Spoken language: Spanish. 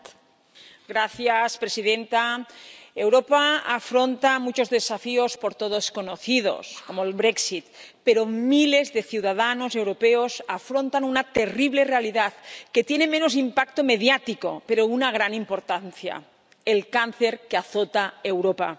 Señora presidenta, Europa afronta muchos desafíos por todos conocidos, como el pero miles de ciudadanos europeos afrontan una terrible realidad que tiene menos impacto mediático pero una gran importancia el cáncer, que azota a Europa.